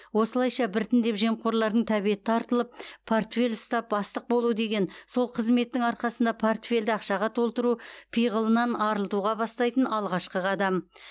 осылайша біртіндеп жемқорлардың тәбеті тартылып портфель ұстап бастық болу деген сол қызметтің арқасында портфельді ақшаға толтыру пиғылынан арылтуға бастайтын алғашқы қадам